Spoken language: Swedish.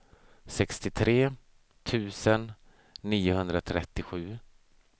sextiotre tusen niohundratrettiosju